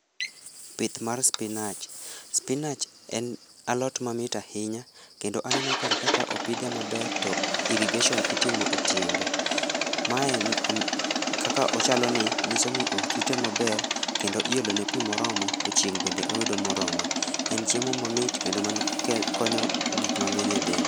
Pith mar spinach, spinach en alot mamit ahinya kendo aneno karka ka opidhe maber to irrigation itimo e tiende, mae o, kaka ochalo ni nyiso ni orite maber kendo iolone pii moromo to chieng bende oyudo morome. En chiemo mamit kendo konyo gik mangeny e del